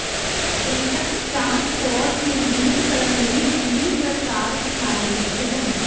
ਜਨਤਕ ਟਰਾਂਸਪੋਰਟ ਮਜ਼ਬੂਤ ਕਰਨ ਲਈ ਦਿੱਲੀ ਸਰਕਾਰ ਉਠਾਏਗੀ ਕਦਮ